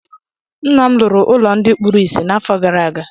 Ńnà m lụrụ ụlọ ndị kpụrụ ịsị n'afọ gaara aga.